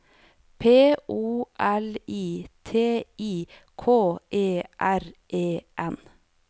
P O L I T I K E R E N